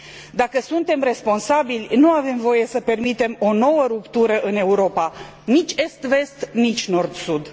Dacă suntem responsabili, nu avem voie să permitem o nouă ruptură în Europa nici est vest, nici nord sud.